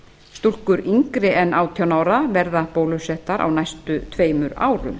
stúlkur yngri en átján ára verða bólusettar á næstu tveimur árum